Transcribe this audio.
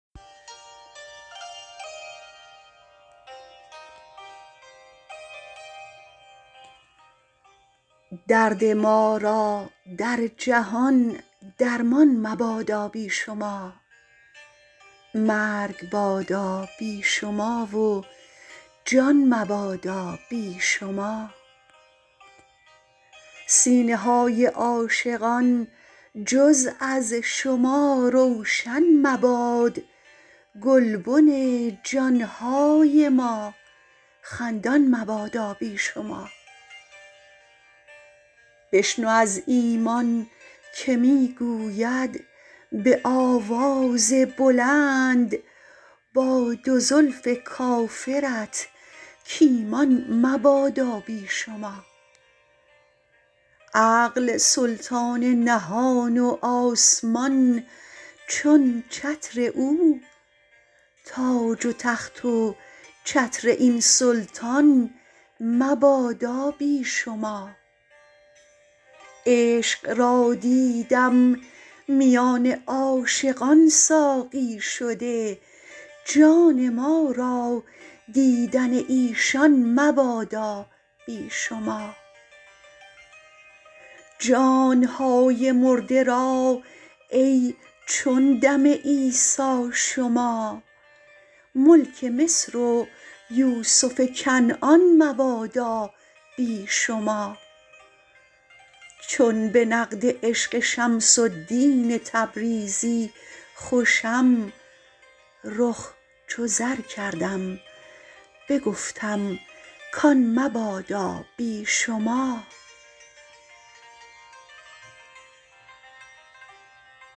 درد ما را در جهان درمان مبادا بی شما مرگ بادا بی شما و جان مبادا بی شما سینه های عاشقان جز از شما روشن مباد گلبن جان های ما خندان مبادا بی شما بشنو از ایمان که می گوید به آواز بلند با دو زلف کافرت کایمان مبادا بی شما عقل سلطان نهان و آسمان چون چتر او تاج و تخت و چتر این سلطان مبادا بی شما عشق را دیدم میان عاشقان ساقی شده جان ما را دیدن ایشان مبادا بی شما جان های مرده را ای چون دم عیسی شما ملک مصر و یوسف کنعان مبادا بی شما چون به نقد عشق شمس الدین تبریزی خوشم رخ چو زر کردم بگفتم کان مبادا بی شما